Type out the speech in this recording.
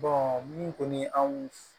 min kɔni anw